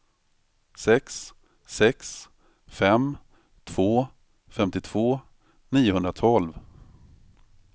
sex sex fem två femtiotvå niohundratolv